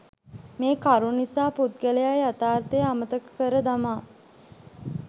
මේ කරුණු නිසා පුද්ගලයා යථාර්ථය අමතක කර දමා